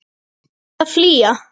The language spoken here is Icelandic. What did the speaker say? Hvert á ég að flýja?